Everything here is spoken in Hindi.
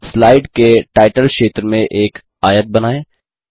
स्लाइड के टाइटल क्षेत्र में एक आयत बनाएँ